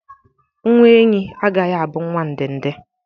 Nwa enyí agaghị abụ nwa ndende